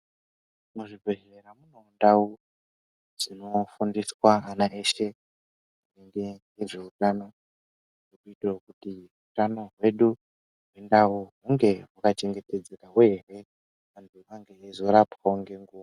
Muzvibhedhlera mune ndau dzinofundiswa ana eshe ngezveutano kuitire kuti utano hwedu mundau hunge hwachengetedzekawo ere antu eizorapwawo ngenguwa.